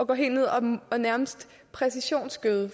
gå helt ned og og nærmest præcisionsgøde